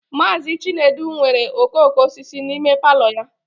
Mazị Chinedu nwere okooko osisi n'ime palọ ya